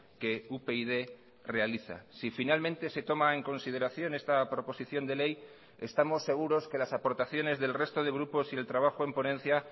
que upyd realiza si finalmente se toma en consideración esta proposición de ley estamos seguros que las aportaciones del resto de grupos y el trabajo en ponencia